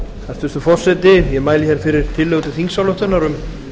hæstvirtur forseti ég mæli hér fyrir tillögu til þingsályktunar um